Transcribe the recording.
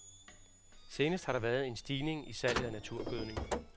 Senest har der været en stigning i salget af naturgødning.